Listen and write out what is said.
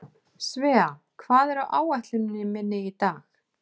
Svea, hvað er á áætluninni minni í dag?